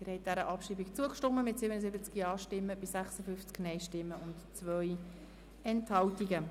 Sie haben der Abschreibung zugestimmt mit 77 Ja- gegen 56 Nein-Stimmen bei 2 Enthaltungen.